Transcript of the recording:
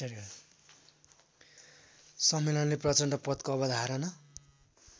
सम्मेलनले प्रचण्डपथको अवधारणा